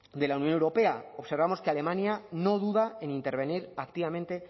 de la unión europea observamos que alemania no duda en intervenir activamente